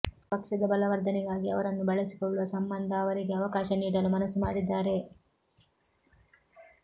ಪಕ್ಷದ ಬಲವರ್ಧನೆಗಾಗಿ ಅವರನ್ನು ಬಳಸಿಕೊಳ್ಳುವ ಸಂಬಂಧ ಅವರಿಗೆ ಅವಕಾಶ ನೀಡಲು ಮನಸ್ಸು ಮಾಡಿದ್ದಾರೆ